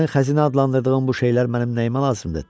Sənin xəzinə adlandırdığın bu şeylər mənim nəyimə lazımdır?